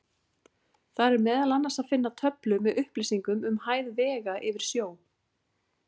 Þar er meðal annars að finna töflu með upplýsingum um hæð vega yfir sjó.